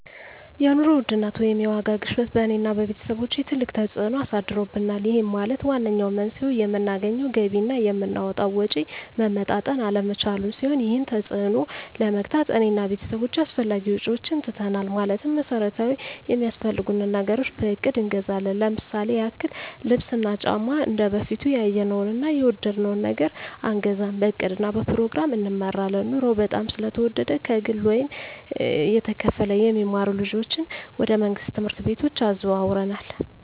የኑሮ ውድነት ወይም የዋጋ ግሽበት በእኔ እና በቤተሰቦቸ ትልቅ ተፅእኖ አሳድሮብናል ይህም ማለት ዋነኛው መንስኤው የምናገኘው ገቢ እና የምናወጣው ወጪ መመጣጠን አለመቻሉን ሲሆን ይህንን ተፅዕኖ ለመግታት እኔ እና ቤተሰቦቸ አላስፈላጊ ወጪዎችን ትተናል ማለትም መሠረታዊ ሚያስፈልጉንን ነገሮች በእቅድ እንገዛለን ለምሳሌ ያክል ልብስ እና ጫማ እንደበፊቱ ያየነውን እና የወደድነውን ነገር አንገዛም በእቅድ እና በፕሮግራም እንመራለን ኑሮው በጣም ስለተወደደ ከግለ ወይም እየተከፈለ የሚማሩ ልጆችን ወደ መንግሥት ትምህርት ቤቶች አዘዋውረናል